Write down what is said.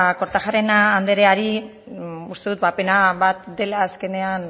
kortajarena andreari uste dut ba pena bat dela azkenean